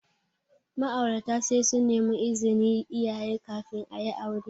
Ma'aurata sai sun nemi izinin iyaye kafin ayi aure.